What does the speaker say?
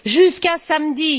jusqu'à samedi.